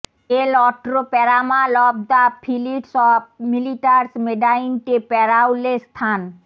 এল অট্রো প্যারামাল of the ফিলিটস অফ মিলিটারস মেডাইন্টে প্যারাওলে স্থান